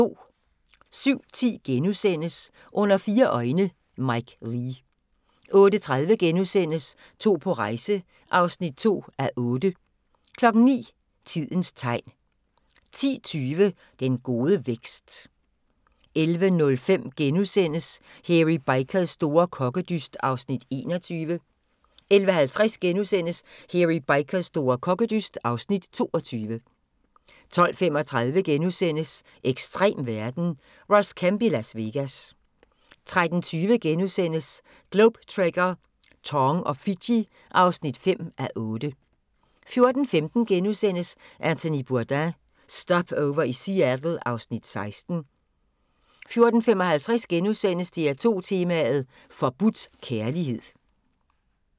07:10: Under fire øjne – Mike Leigh * 08:30: To på rejse (2:8)* 09:00: Tidens tegn 10:20: Den gode vækst 11:05: Hairy Bikers store kokkedyst (Afs. 21)* 11:50: Hairy Bikers store kokkedyst (Afs. 22)* 12:35: Ekstrem verden – Ross Kemp i Las Vegas * 13:20: Globe Trekker - Tong og Fiji (5:8)* 14:15: Anthony Bourdain – Stopover i Seattle (Afs. 16)* 14:55: DR2 tema: Forbudt kærlighed *